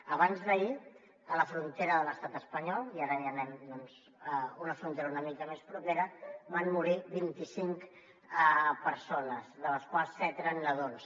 abans d’ahir a la frontera de l’estat espanyol i ara ja anem doncs a una frontera una mica més propera van morir vint i cinc persones de les quals set eren nadons